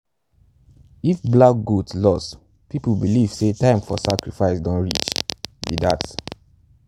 if black goat lost people believe say time for sacrifice don reach be dat.